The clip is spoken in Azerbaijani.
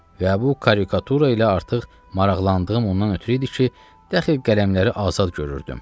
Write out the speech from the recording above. Və bu karikatura ilə artıq maraqlandığım ondan ötrü idi ki, dəxil qələmləri azad görürdüm.